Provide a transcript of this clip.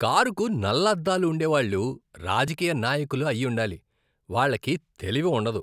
కారుకు నల్ల అద్దాలు ఉండేవాళ్ళు రాజకీయ నాయకులు అయ్యుండాలి, వాళ్లకి తెలివి ఉండదు.